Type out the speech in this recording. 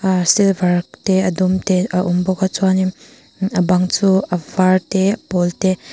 ahh silver te a dum te a awm bawk a chuanin a bang chu a var te a pawl te.